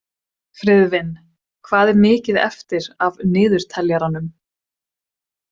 Friðvin, hvað er mikið eftir af niðurteljaranum?